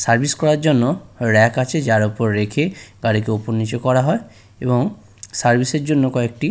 service করার জন্য rack আছে যার ওপর রেখে গাড়িকে ওপর নিচে করা হয় এবং সার্ভিস -এর জন্য কয়েকটি--